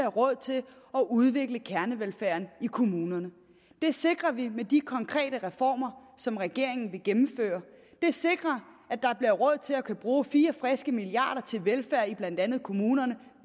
råd til at udvikle kernevelfærden i kommunerne det sikrer vi med de konkrete reformer som regeringen vil gennemføre de sikrer at der bliver råd til at kunne bruge fire friske milliarder kroner til velfærd i blandt andet kommunerne